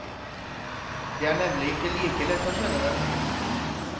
Det er nemlig ikke like lett å skjønne det.